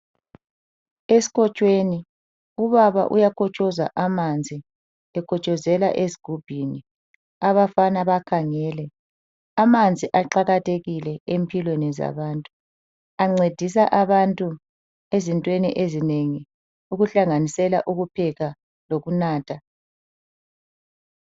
Esikotshweni ubaba uyakotshoza amanzi. Ekotshozela ezigubhini, abafana bakhangele. Amanzi aqakathekile empilweni zabantu, ancedisa abantu ezintweni ezinengi, ukuhlanganisela ukupheka lokunatha.